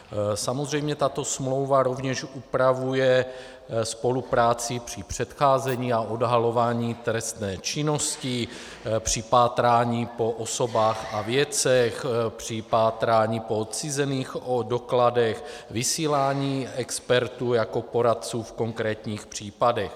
Samozřejmě tato smlouva rovněž upravuje spolupráci při předcházení a odhalování trestné činnosti, při pátrání po osobách a věcech, při pátrání po odcizených dokladech, vysílání expertů jako poradců v konkrétních případech.